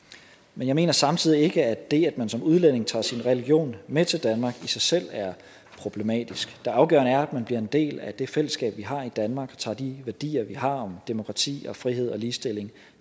men jeg mener samtidig ikke at det at man som udlænding tager sin religion med til danmark i sig selv er problematisk det afgørende er at man bliver en del af det fællesskab vi har i danmark og tager de værdier vi har om demokrati og frihed og ligestilling